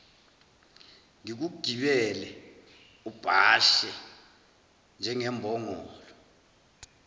ngikugibele ubhashe njengembongolo